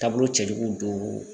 Taabolo cɛjuguw don